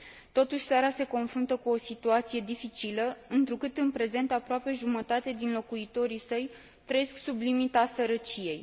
Totuși, țara se confruntă cu o situație dificilă, întrucât, în prezent, aproape jumătate din locuitorii săi trăiesc sub limita sărăciei.